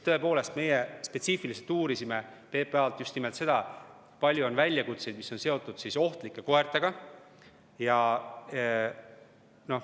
Tõepoolest, me spetsiifiliselt uurisime PPA-lt just nimelt seda, kui palju on olnud väljakutseid, mis on seotud ohtlike koertega.